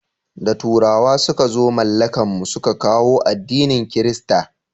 Da turawa suka zo mallakan mu su ka kawo addinin kirista